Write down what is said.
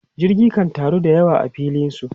Jirage kan taru da yawa a filin su.